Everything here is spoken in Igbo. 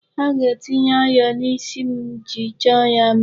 Ha ga-etinye ayọ na'isi m iji chọọ ya mma.